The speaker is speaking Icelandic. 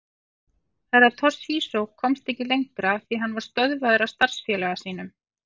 Herra Toshizo komst ekki lengra því hann var stöðvaður af starfsfélaga sínum.